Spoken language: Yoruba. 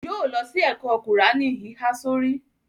Yóó lọ sí ẹ̀kọ́ kùráánì híhá sórí.